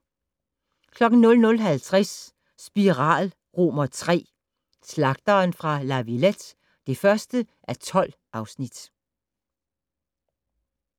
00:50: Spiral III: Slagteren fra La Villette (1:12)